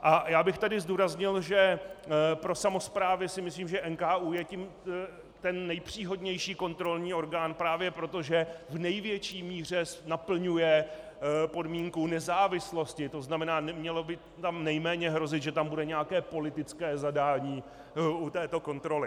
A já bych tady zdůraznil, že pro samosprávy si myslím, že NKÚ je ten nejpříhodnější kontrolní orgán právě proto, že v největší míře naplňuje podmínku nezávislosti, to znamená, mělo by tam nejméně hrozit, že tam bude nějaké politické zadání u této kontroly.